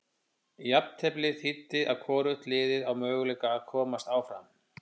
Jafnteflið þýddi að hvorugt liðið á möguleika að komast áfram.